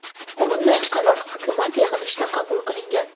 bunday qaror Hukumat yig‘ilishida qabul qilingan.